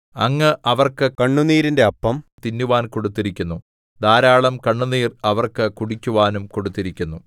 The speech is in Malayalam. അങ്ങ് അവർക്ക് കണ്ണുനീരിന്റെ അപ്പം തിന്നുവാൻ കൊടുത്തിരിക്കുന്നു ധാരാളം കണ്ണുനീർ അവർക്ക് കുടിക്കുവാനും കൊടുത്തിരിക്കുന്നു